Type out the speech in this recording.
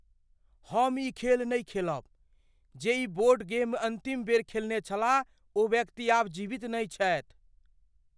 हम ई खेल नहि खेलब। जे ई बोर्ड गेम अन्तिम बेर खेलने छलाह ओ व्यक्ति आब जीवित नहि छथि।